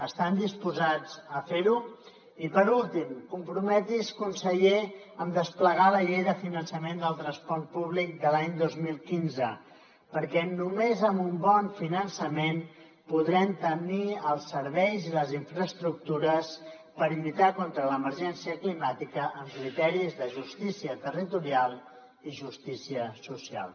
estan disposats a fer ho i per últim comprometre’s conseller a desplegar la llei de finançament del transport públic de l’any dos mil quinze perquè només amb un bon finançament podrem tenir els serveis i les infraestructures per lluitar contra l’emergència climàtica amb criteris de justícia territorial i justícia social